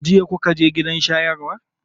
Jiya kuka je gidan shayarwar?